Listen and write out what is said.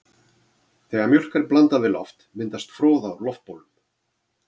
Þegar mjólk er blandað við loft myndast froða úr loftbólum.